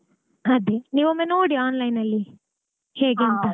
ಅದೇ ನೀವೊಮ್ಮೆ ನೋಡಿ online ಅಲ್ಲಿ ಹೇಗೆ ಅಂತ.